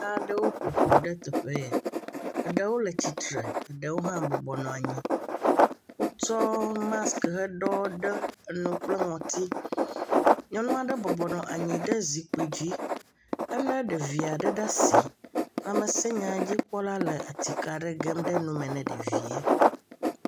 Ame aɖewo ƒoƒu ɖe teƒe ya, ɖewo le tsi tre, ɖewo hã bɔbɔ nɔ anyi. Wotsɔ mask ɖe ɖɔ ɖe enu kple ŋɔti. Nyɔnua ɖe bɔbɔ nɔ anyi ɖe zikpui dzi ele ɖevia ɖe ɖe asi. Amesinyadzikpɔla le atike gem ɖe nume ne.